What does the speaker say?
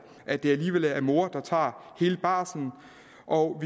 at det alligevel er mor der tager hele barslen og